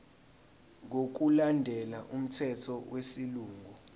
ngokulandela umthetho wesilungu